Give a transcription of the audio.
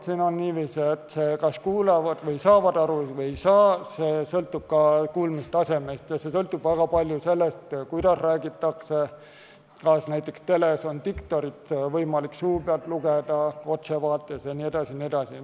Siin on niiviisi, et see, kas saavad aru või ei saa, sõltub ka kuulmistasemest ja see sõltub väga palju sellest, kuidas räägitakse, kas näiteks teles on diktorit võimalik suu pealt lugeda, kas ta on otsevaates jne.